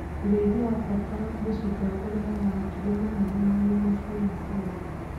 ũrĩithia wa bata mũcinga ũrehaga matumbĩ manene na nyama cina cama